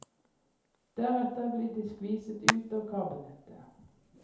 Deretter ble de skviset ut av kabelnettet.